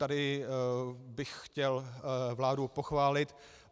Tady bych chtěl vládu pochválit.